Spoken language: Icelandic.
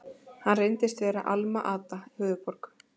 Hann reyndist vera Alma-Ata, höfuðborg